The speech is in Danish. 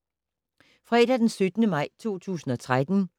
Fredag d. 17. maj 2013